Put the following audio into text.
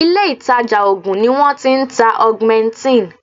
Ilé ìtàjà oògùn ni wọ́n ti ń ta augmentin.